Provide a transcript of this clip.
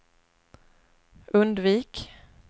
undvik